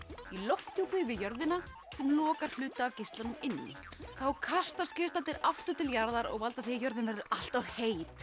í lofthjúpi við jörðina sem lokar hluta af geislunum inni þá kastast geislarnir aftur til jarða og valda því að jörðin verður allt of heit